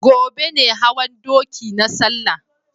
Gobe ne hawan doki na salla